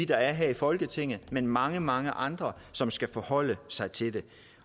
der er her i folketinget men af mange mange andre som skal forholde sig til det